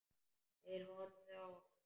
Þeir horfðu á.